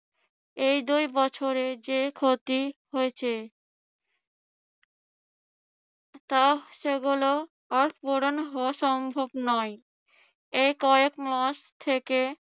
এই দুই বছরে যে ক্ষতি হয়েছে তা সেগুলো আর পূরণ হওয়া সম্ভব নয়। এই কয়েকমাস থেকে